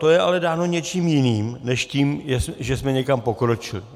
To je ale dáno něčím jiným než tím, že jsme někam pokročili.